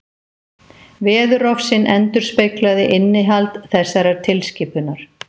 Veðurofsinn endurspeglaði innihald þessarar tilskipunar.